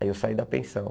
Aí eu saí da pensão.